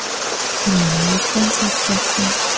Hammaning o‘ziga insof bersin!